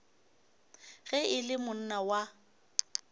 ge e le monna wa